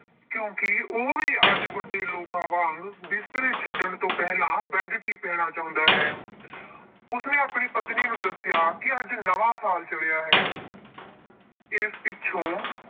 ਕਿਉਂਕਿ ਉਹ ਵੀ ਅੱਜ ਵੱਡੇ ਲੋਕਾਂ ਵਾਂਗ ਬਿਸਤਰੇ ਛੱਡਣ ਤੋਂ ਪਹਿਲਾਂ bed tea ਪੀਣਾ ਚਾਹੁੰਦਾ ਹੈ। ਉਸਨੇ ਆਪਣੀ ਪਤਨੀ ਨੂੰ ਦੱਸਿਆ ਕਿ ਅੱਜ ਨਵਾਂ ਸਾਲ ਚੜ੍ਹਿਆ ਹੈ। ਇਸ ਪਿੱਛੋਂ